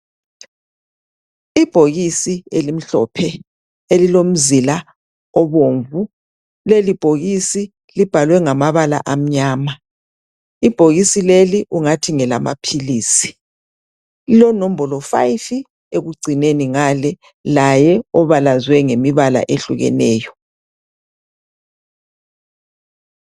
Ibhokisi elimhlophe elilomzila obomvu leli bhokisi libhalwe ngamabala amnyama ibhokisi leli kungathi ngelama pills lilonombolo 5 ekucineni ngale laye obalazwe ngemibala ehlukeneyo